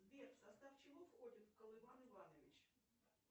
сбер в состав чего входит колыван иванович